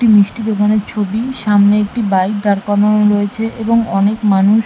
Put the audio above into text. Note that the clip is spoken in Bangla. মিষ্টি দোকানের ছবি সামনে একটি বাইক দাঁড় করানো রয়েছে এবং অনেক মানুষ--